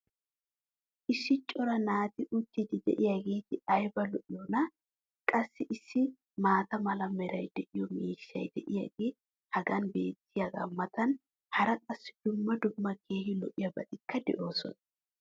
issi cora naati uttidi diyaageeti ayba lo'iyoonaa! qassi issi maata mala meray de'iyo miishshay diyaagee hagan beetiyaagaa matan hara qassi dumma dumma keehi lo'iyaabatikka de'oosona.